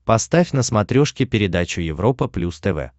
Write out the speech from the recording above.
поставь на смотрешке передачу европа плюс тв